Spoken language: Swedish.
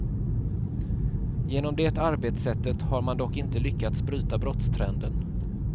Genom det arbetssättet har man dock inte lyckats bryta brottstrenden.